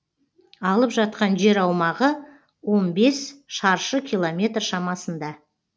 алып жатқан жер аумағы он бес шаршы километр шамасында